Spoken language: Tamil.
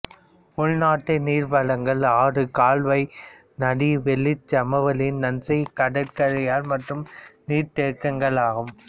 உள்நாட்டு நீர்வளங்கள் ஆறு கால்வாய் நதி வெள்ளச்சமவெளி நன்செய் கடற்கரைக்காயல் மற்றும் நீர்தேக்கங்களாகும்